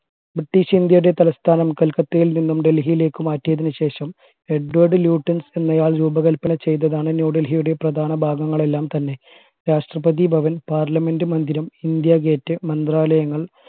British ഇന്ത്യയുടെ തലസ്ഥാനം കൽക്കത്തയിൽ നിന്നും ഡൽഹിയിലേക്ക് മാറ്റിയതിനുശേഷം എഡ്‌വേഡ്‌ ല്യൂട്ടൻസ് എന്നയാൾ രൂപകൽപ്പന ചെയ്തതാണ് ന്യൂഡൽഹിയുടെ പ്രധാന ഭാഗങ്ങൾ എല്ലാം തന്നെ രാഷ്ട്രപതി ഭവൻ parliament മന്ദിരം ഇന്ത്യ gate മന്ത്രാലയങ്ങൾ